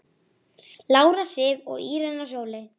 Lára Sif og Írena Sóley.